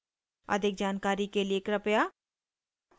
अधिक जानकारी के लिए कृपया